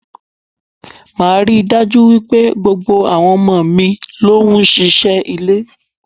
Máa rí dájú wípé gbogbo àwọn ọmọ mi ló ń ṣe iṣẹ́ ilé.